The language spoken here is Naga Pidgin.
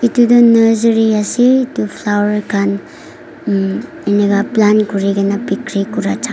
edu tu nersary ase flower khan plant kurina bikiri kura jaka.